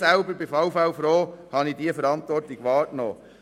Ich selber bin froh, dass ich diese Verantwortung wahrgenommen habe.